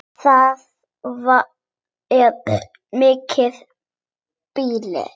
Það er mikið býli.